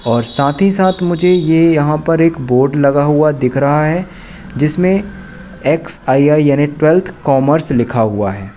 और साथ ही साथ मुझे ये यहां पर एक बोर्ड लगा हुआ दिख रहा है जिसमें एक्स_आई_आई यानी ट्वेल्थ कॉमर्स लिखा हुआ है।